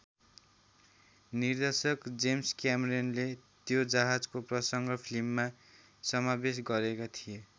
निर्देशक जेम्स क्यामेरनले त्यो जहाजको प्रसंग फिल्ममा समावेश गरेका थिए।